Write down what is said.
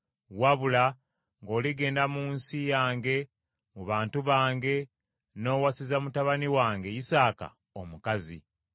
wabula ng’oligenda mu nsi yange mu bantu bange n’owasiza mutabani wange Isaaka omukazi.”